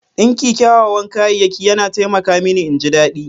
Dinki kyawawan kayayyaki yana taimaka mini in ji daɗi.